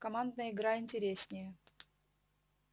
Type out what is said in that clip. командная игра интереснее